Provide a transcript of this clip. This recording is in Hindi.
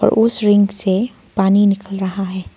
उस रिंग से पानी निकल रहा है।